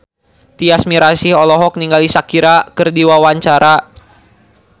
Tyas Mirasih olohok ningali Shakira keur diwawancara